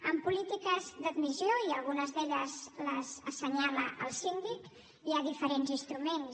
en polítiques d’admissió i algunes d’elles les assenyala el síndic hi ha diferents instruments